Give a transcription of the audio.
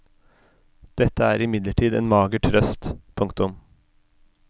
Dette er imidlertid en mager trøst. punktum